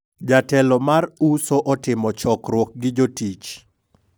jatelo mar uso otimo chokruok gi jotich